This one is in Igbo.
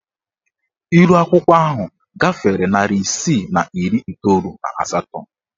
Ihuakwụkwọ ahụ gafere narị isii na iri iteolu na asatọ.